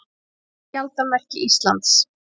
Skjaldarmerki Íslands.